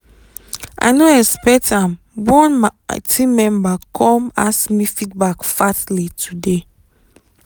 i no expect am one my team member come ask me feedback fastly today